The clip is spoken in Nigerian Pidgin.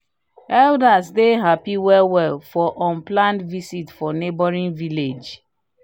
elders dey happy well well for unplanned visit from neighboring village."